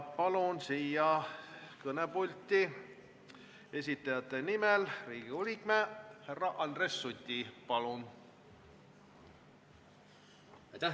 Palun kõnepulti algatajate nimel esinema Riigikogu liikme härra Andres Suti!